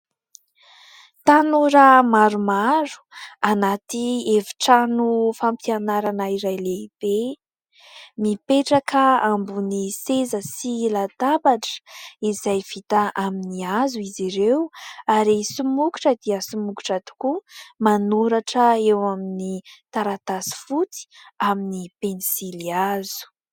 Tanora maromaro anaty efitrano fampianarana iray lehibe mipetraka ambony seza sy latabatra izay vita amin'ny hazo izy ireo, ary somokotra dia somokotra tokoa manoratra eo amin'ny taratasy fotsy amin'ny pensilihazo.